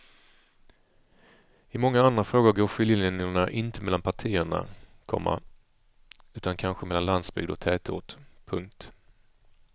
I många andra frågor går skiljelinjerna inte mellan partierna, komma utan kanske mellan landsbygd och tätort. punkt